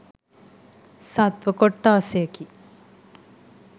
සත්ත්ව කොට්ඨාසයකි.